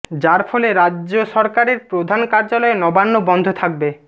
যার ফলে রাজ্য সরকারের প্রধান কার্যালয় নবান্ন বন্ধ থাকবে